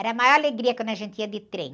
Era a maior alegria quando a gente ia de trem.